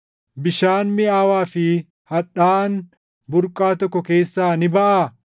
Bishaan miʼaawaa fi hadhaaʼaan burqaa tokko keessaa ni baʼaa?